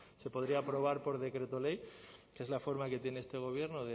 se podría aprobar por decreto ley que es la forma que tiene este gobierno